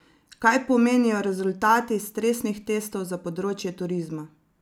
Kaj pomenijo rezultati stresnih testov za področje turizma?